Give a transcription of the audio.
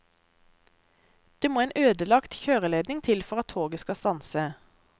Det må en ødelagt kjøreledning til for at toget skal stanse.